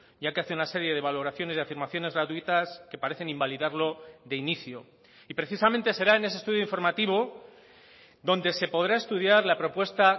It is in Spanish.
ya que hace una serie de valoraciones y afirmaciones gratuitas que parecen invalidarlo de inicio y precisamente será en ese estudio informativo donde se podrá estudiar la propuesta